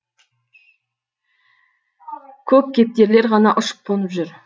көк кептерлер ғана ұшып қонып жүр